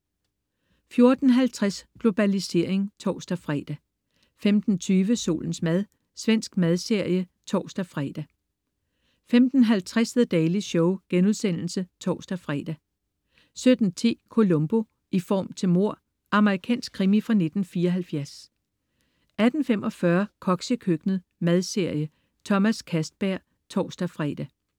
14.50 Globalisering (tors-fre) 15.20 Solens mad. Svensk madserie (tors-fre) 15.50 The Daily Show* (tors-fre) 17.10 Columbo: I form til mord. Amerikansk krimi fra 1974 18.45 Koks i køkkenet. Madserie. Thomas Castberg (tors-fre)